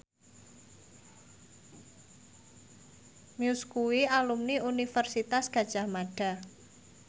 Muse kuwi alumni Universitas Gadjah Mada